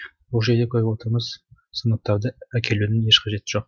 бұл жерде көріп отырмыз сыныптарды әкелудің еш қажеті жоқ